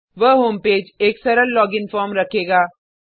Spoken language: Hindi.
वह होम पेज एक सरल लॉगिनफॉर्म रखेगा